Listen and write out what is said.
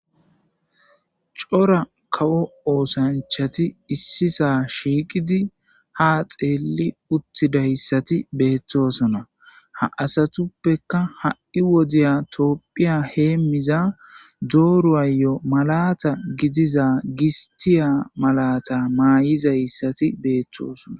cora kawo oosanchati issisa shiiqidi ha xeelli uttidayssati beettosona ha asatuppeka ha7i wodiya toopphiya heemiza dooru ayo malata gidiza gistiya malata maay7izayssati beettosona